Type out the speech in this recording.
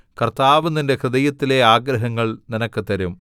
കർത്താവ് നിന്റെ ഹൃദയത്തിലെ ആഗ്രഹങ്ങൾ നിനക്ക് തരും